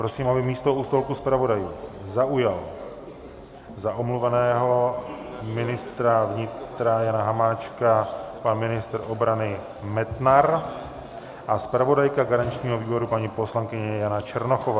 Prosím, aby místo u stolku zpravodajů zaujal za omluveného ministra vnitra Jana Hamáčka pan ministr obrany Metnar a zpravodajka garančního výboru, paní poslankyně Jana Černochová.